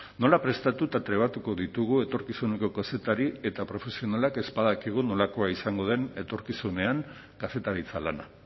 nola prestatu eta trebatuko ditugu etorkizuneko kazetari eta profesionalak ez badakigu nolakoa izango den etorkizunean kazetaritza lana